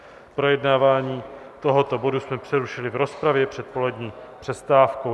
Projednávání tohoto bodu jsme přerušili v rozpravě před polední přestávkou.